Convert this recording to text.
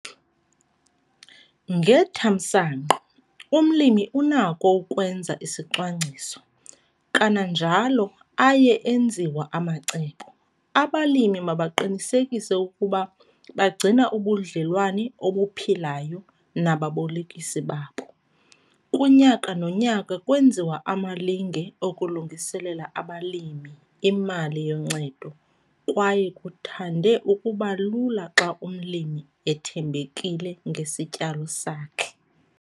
Ngethamsanqa, umlimi unakho ukwenza isicwangciso, kananjalo aye enziwa amacebo! Abalimi mabaqinisekise ukuba bagcina ubudlelwane obuphilayo nababolekisi babo. Kunyaka nonyaka kwenziwa amalinge okulungiselela abalimi imali yoncedo kwaye kuthande ukuba lula xa umlimi ethembekile ngesityalo sakhe.